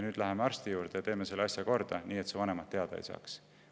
Nüüd läheme arsti juurde ja teeme selle asja korda, nii et su vanemad sellest teada ei saaks.